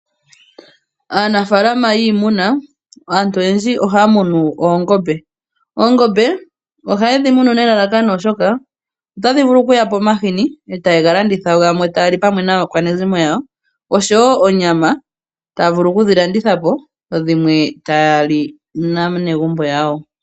Aanafalama oyendji yiimuna ohaamunu oongombe. Oongombe ohaye dhimunu oshoka ohadhi yape omahini gokulandithwa nosho woo gokulya naakwanezimo yawo. Koongombe ohakuzi woo oonyama dhokulandithwa nosho woo okulya naanegumbo yawo.